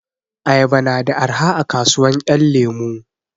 Ayaba na da arha a kasuwan 'yan lemu.